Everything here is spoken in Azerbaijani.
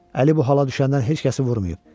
Əli bu hala düşəndən heç kəsi vurmayıb.